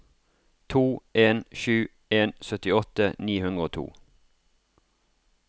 to en sju en syttiåtte ni hundre og to